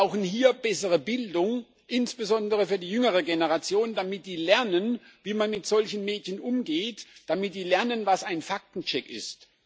Wir brauchen hier bessere Bildung, insbesondere für die jüngere Generation, damit die lernt, wie man mit solchen Medien umgeht, damit die lernt, was ein Faktencheck ist.